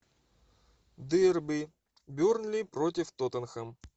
дерби бернли против тоттенхэм